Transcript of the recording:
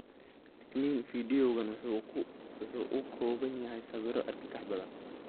Digniin: Fiidiyowgaan waxa uu ka kooban yahay sawirro argagax badan.